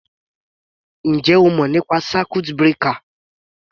Ǹjẹ́ o mọ̀ nípa circuit breaker?